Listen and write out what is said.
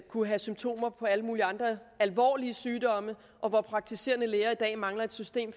kunne have symptomer på alle mulige andre alvorlige sygdomme og hvor praktiserende læger i dag mangler et system